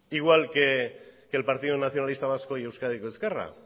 igual que el partido nacionalista vasco y euskadiko ezkerra